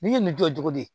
Nin ye nin jɔ cogo di